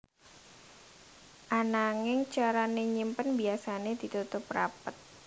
Ananging carané nyimpen biyasané ditutup rapet